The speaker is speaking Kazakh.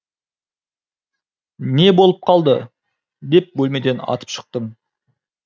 не болып қалды деп бөлмеден атып шықтым